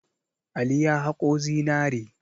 Ali ya haƙo zinare.